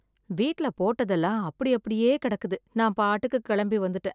வீட்டில் போட்டதெல்லாம் அப்படி அப்படியே கிடக்குது நான் பாட்டில கிளம்பி வந்துட்டேன்.